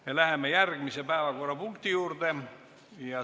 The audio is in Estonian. Me läheme järgmise päevakorrapunkti juurde.